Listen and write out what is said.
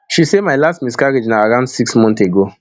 she say my last miscarriage na around six months ago